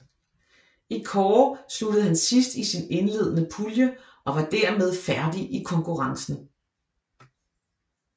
I kårde sluttede han sidst i sin indledende pulje og var dermed færdig i konkurrencen